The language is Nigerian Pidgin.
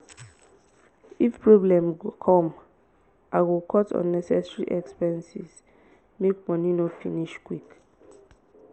if problem come i go cut unnecessary expenses make money no finish quick.